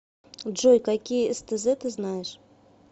джой какие стз ты знаешь